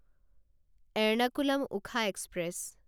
Ernakulam Okha express